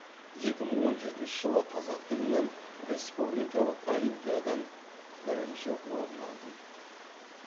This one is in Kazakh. екі мың он жетінші жылы қазақ тілінен республикалық олимпиадан бірінші орын алдым